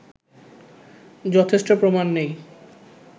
যথেষ্ট প্রমাণ নেই